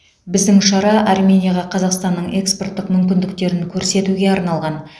біздің шара арменияға қазақстанның экспорттық мүмкіндіктерін көрсетуге арналған